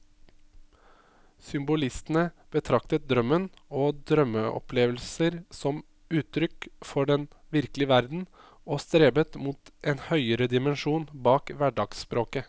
Symbolistene betraktet drømmen og drømmeopplevelser som uttrykk for den virkelige verden, og strebet mot en høyere dimensjon bak hverdagsspråket.